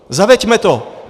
Zaveďme to.